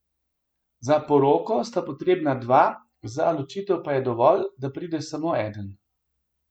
Za poroko sta potrebna dva, za ločitev pa je dovolj, da pride samo eden.